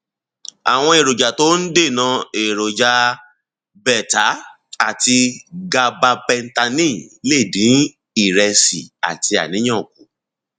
àwọn èròjà tó ń dènà èròjà beta àti gabapentine lè dín ìrẹsì àti àníyàn kù